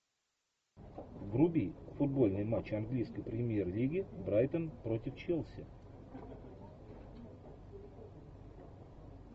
вруби футбольный матч английской премьер лиги брайтон против челси